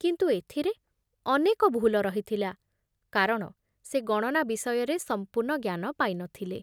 କିନ୍ତୁ ଏଥିରେ ଅନେକ ଭୁଲ ରହିଥିଲା, କାରଣ ସେ ଗଣନା ବିଷୟରେ ସମ୍ପୂର୍ଣ୍ଣ ଜ୍ଞାନ ପାଇ ନ ଥିଲେ।